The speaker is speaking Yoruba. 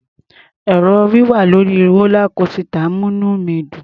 È̀rò wíwà lórí rólá kósità ń múní mi dùn.